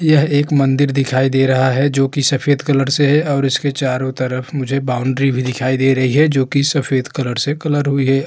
यह एक मंदिर दिखाई दे रहा है जोकि सफ़ेद कलर से है और इसके चारो तरफ मुझे बाउंड्री भी दिखाई दे रही है जोकि सफ़ेद कलर से कलर हुई है।